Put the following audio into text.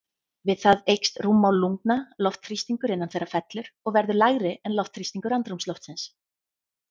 Við það eykst rúmmál lungna, loftþrýstingur innan þeirra fellur og verður lægri en loftþrýstingur andrúmsloftsins.